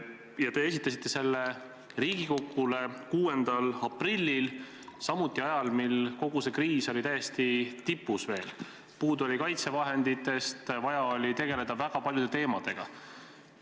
Ja te esitasite selle Riigikogule 6. aprillil, samuti ajal, mil kogu see kriis oli veel täiesti tipus, puudu oli kaitsevahenditest, vaja oli tegeleda väga paljude teemadega.